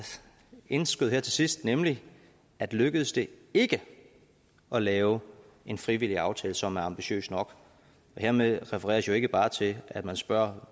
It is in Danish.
indskød til sidst nemlig at lykkes det ikke at lave en frivillig aftale som er ambitiøst nok hermed refereres jo ikke bare til at man spørger